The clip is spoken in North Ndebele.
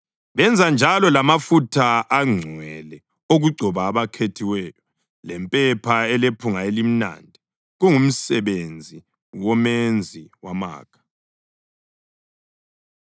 Benza njalo lamafutha angcwele okugcoba abakhethiweyo, lempepha elephunga elimnandi, kungumsebenzi womenzi wamakha.